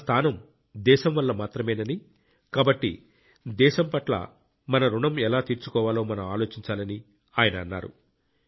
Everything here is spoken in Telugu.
మన స్థానం దేశం వల్ల మాత్రమేనని కాబట్టి దేశం పట్ల మన రుణం ఎలా తీర్చుకోవాలో మనం ఆలోచించాలని ఆయన అన్నారు